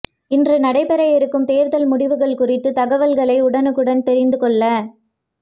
இன்று நடைபெற இருக்கும் தேர்தல் முடிவுகள் குறித்த தகவல்களை உடனுக்குடன் தெரிந்து கொள்ள